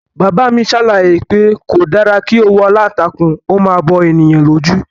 Bàbá mi ṣàlàyé pé kò dára kí òwú aláǹtakùn ó máa bo ènìyàn lójú